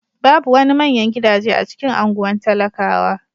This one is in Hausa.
Babu wani manyan gidaje a cikin anguwan talakawa.